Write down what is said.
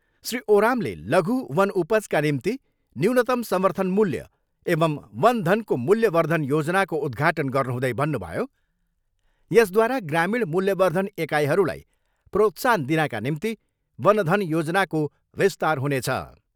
श्री ओरामले, लघु वन उपजका निम्ति न्यूनतम समर्थन मूल्य एवम् वन धनको मूल्यवर्धन योजनाको उद्घाटन गर्नुहुँदै भन्नुभयो, यसद्वारा ग्रामीण मूल्यवर्धन एकाइहरूलाई प्रोत्साहन दिनाका निम्ति वन धन योजनाको विस्तार हुनेछ।